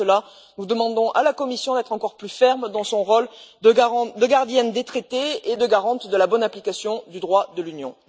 En cela, nous demandons à la Commission d'être encore plus ferme dans son rôle de gardienne des traités et de garante de la bonne application du droit de l'Union.